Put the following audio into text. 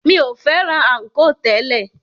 Mi o fẹ́ràn ànkò tẹ́lẹ̀.